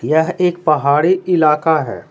यह एक पहाड़ी इलाका है।